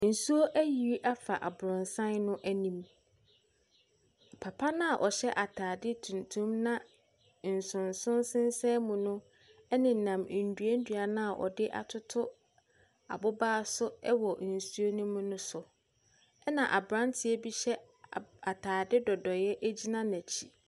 Nsuo ayiri afa aborosan no anim. Papa no a ɔhyɛ aytadeɛ tuntum na nsonson sensan mu no nenam nnua nnua no a wɔde atoto aboba so wɔ nsuo no mu no so. Ɛna aberanteɛ bi hyɛ ab atadeɛ nnodoeɛ gyina n'akyi.